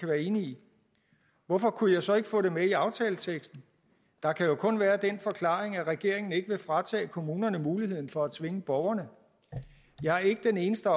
være enige i hvorfor kunne jeg så ikke få det med i aftaleteksten der kan jo kun være den forklaring at regeringen ikke vil fratage kommunerne muligheden for at tvinge borgerne jeg er ikke den eneste